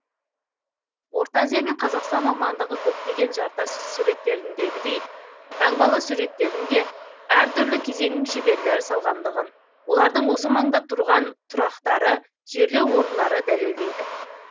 орта азия мен қазақстан аумағындағы көптеген жартас суреттеріндегідей таңбалы суреттерін де әртүрлі кезеңнің шеберлері салғандығын олардың осы маңда тұрған тұрақтары жерлеу орындары дәлелдейді